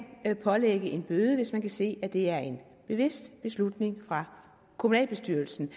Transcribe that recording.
pålægge en bøde hvis man kan se det er en bevidst beslutning fra kommunalbestyrelsens